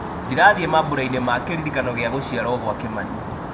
ndirathiĩ mambura-ini ma kĩririkano gĩa gũciarwo gwa kimani